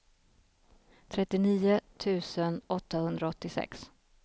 trettionio tusen åttahundraåttiosex